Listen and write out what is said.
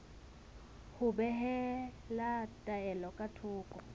ho behela taelo ka thoko